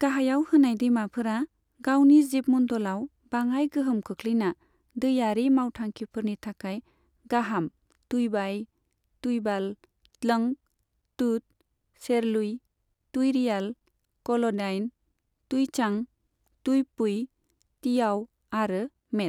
गाहायाव होनाय दैमाफोरा गावनि जिबमण्डलाव बाङाइ गोहोम खोख्लैना दैयारि मावथांखिफोरनि थाखाय गाहाम तुईबाई, तुईबाल, त्लंग, टुट, सेरलुई, तुईरियाल, कल'डाइन, तुईचां, तुईपुई, तियाव आरो मेट।